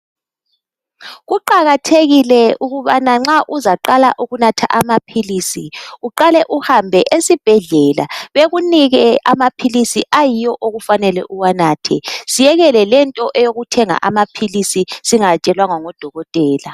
Kuqakathekile ukubana nxa uzaqala ukunatha amaphilisi uqale uhambe esibhedlela bekunike amaphilisi ayiwo okufanele uwanathe siyekele lento eyokuthenga amaphilisi singatshelwanga ngo dokotela.